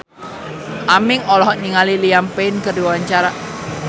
Aming olohok ningali Liam Payne keur diwawancara